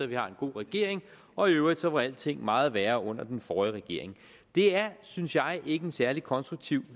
vi har en god regering og i øvrigt var alting meget værre under den forrige regering det er synes jeg ikke nogen særlig konstruktiv